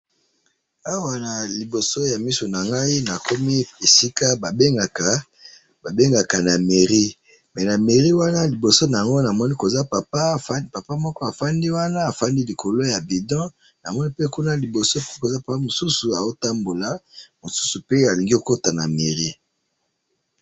awa naliboso yamisu nangayi nakomi esika babengaka na meirie mais na meirie wana liboso wana namoni papa moko afandeli bido namoni tata mususu atelemi liboso ya meirie namoni mutu mususu azokota liboso ya meirie